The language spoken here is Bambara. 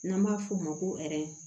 N'an b'a f'o ma ko